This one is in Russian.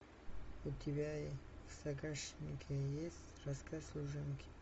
у тебя в загашнике есть рассказ служанки